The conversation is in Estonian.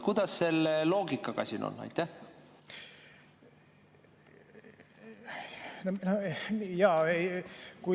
Kuidas selle loogikaga siin on?